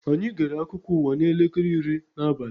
Anyị gere akụkọ ụwa n'elekere iri n'abali